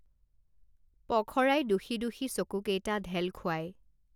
পখৰাই দোষী দোষী চকু কেইটা ঢেল খুৱাই